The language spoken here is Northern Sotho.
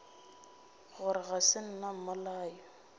gore ga se nna mmolai